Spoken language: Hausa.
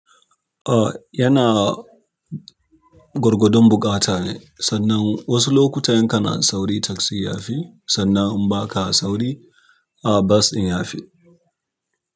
Oh yana gorgodon buƙata ne, sannan wasu lokuta in kana sauri taksi ya fi, sannan in ba ka sauri ah bas ɗin ya fi.